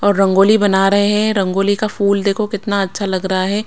और रंगोली बना रहे हैं रंगोली का फूल देखो कितना अच्छा लग रहा है।